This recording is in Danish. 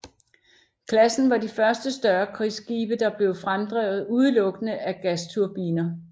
Klassen var de første større krigsskibe der blev fremdrevet udelukkende af gasturbiner